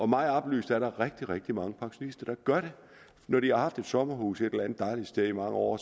mig oplyst er der rigtig rigtig mange pensionister der gør det når de har haft et sommerhus et eller andet dejligt sted i mange år